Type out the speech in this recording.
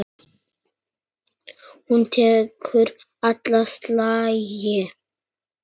Hún tekur alla slagi.